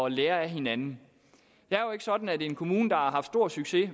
at lære af hinanden det er jo ikke sådan at en kommune der har haft stor succes